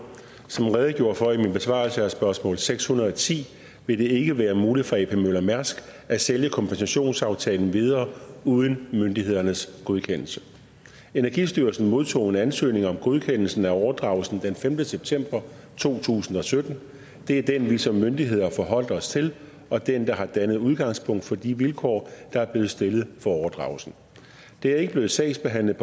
som jeg redegjorde for i min besvarelse af spørgsmål seks hundrede og ti vil det ikke være muligt for ap møller mærsk as at sælge kompensationsaftalen videre uden myndighedernes godkendelse energistyrelsen modtog en ansøgning om godkendelsen af overdragelsen den femte september to tusind og sytten det er den vi som myndighed har forholdt os til og den der har dannet udgangspunkt for de vilkår der er blevet stillet for overdragelsen overdragelsen er ikke blevet sagsbehandlet